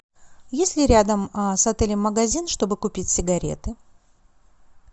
есть ли рядом с отелем магазин чтобы купить сигареты